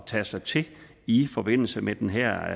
tage sig til i forbindelse med den her